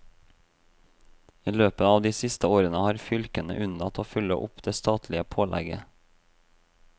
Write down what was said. I løpet av de siste årene har fylkene unnlatt å følge opp det statlige pålegget.